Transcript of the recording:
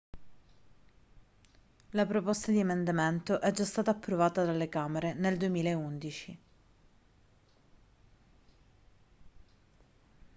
la proposta di emendamento è già stata approvata dalle camere nel 2011